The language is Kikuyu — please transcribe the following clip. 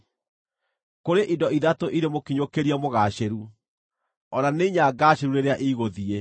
“Kũrĩ indo ithatũ irĩ mũkinyũkĩrie mũgaacĩru, o na nĩ inya ngaacĩru rĩrĩa igũthiĩ: